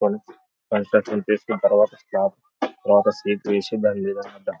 construction చేసిన తరువాత తరువాత